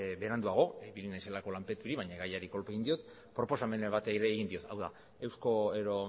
noizbait beranduago ibili naizelako lanpeturik baina gaiari kolpe egin diot proposamena bat ere egin diot